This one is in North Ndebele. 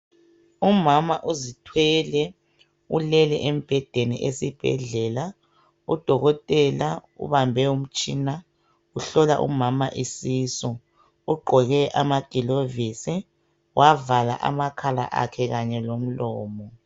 Umama uzithwele ulele embhedeni esibhedlela udokotela ubambe umtshina uhlola umama isisu ugqoke amagilovisi wavala amakhala akhe kanye lomlomo.